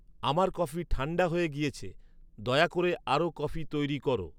আমার কফি ঠান্ডা হয়ে গিয়েছে। দয়া করে আরও কফি তৈরি করো